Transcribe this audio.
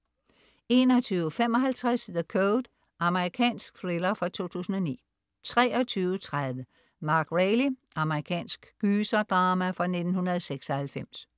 21.55 The Code. Amerikansk thriller fra 2009 23.30 Mary Reilly. Amerikansk gyserdrama fra 1996